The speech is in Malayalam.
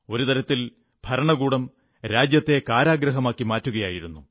ഒരു തരത്തിൽ ഭരണകൂടം രാജ്യത്തെ കാരാഗൃഹമാക്കി മാറ്റുകയായിരുന്നു